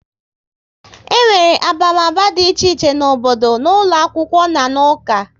E nwere abamaba dị iche iche n'obodo, n'ụlọ akwụkwọ na n'uka